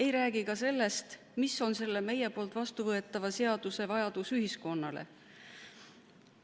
Ei räägi ka sellest, milline vajadus selle meie vastuvõetava seaduse järele ühiskonnas on.